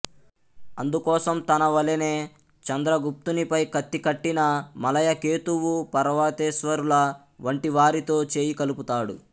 అందుకోసం తన వలెనే చంద్రగుప్తునిపై కత్తికట్టిన మలయకేతువు పర్వతేశ్వరుల వంటివారితో చేయికలుపుతాడు